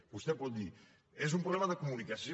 vostè pot dir és un problema de comunicació